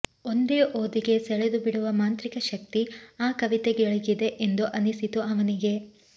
ಒಂದೇ ಓದಿಗೆ ಸೆಳೆದುಬಿಡುವ ಮಾಂತ್ರಿಕ ಶಕ್ತಿ ಆ ಕವಿತೆಗಳಿಗಿದೆ ಎಂದು ಅನಿಸಿತು ಅವನಿಗೆ